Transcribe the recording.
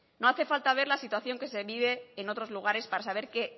no hace falta ver la situación que se vive en otros lugares para saber que